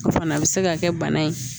O fana bɛ se ka kɛ bana ye